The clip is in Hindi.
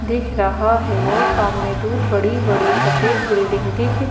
दिख रहा है और सामने दूर बड़ी-बड़ी सफेद बिल्डिंग दिख--